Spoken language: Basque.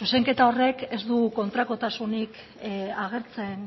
zuzenketa horrek ez du kontrakotasunik agertzen